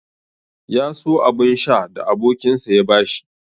Ya so abun sha da abokinsa ya bashi.